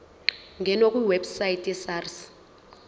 ngena kwiwebsite yesars